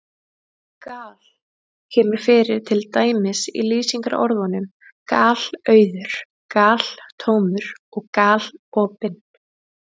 Gal- kemur fyrir til dæmis í lýsingarorðunum galauður, galtómur og galopinn.